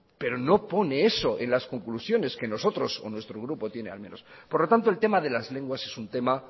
pero no pone eso en las conclusiones que nosotros o nuestro grupo tiene al menos por lo tanto el tema de las lenguas es un tema